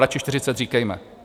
Radši 40 říkejme.